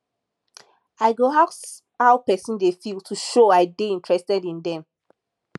i go ask how pesin dey feel to show i dey interested in dem